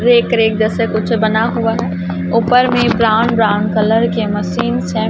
Rack rack जैसे कुछ बना हुआ हैं ऊपर में ब्राउन ब्राउन कलर के मशीन्स हैं।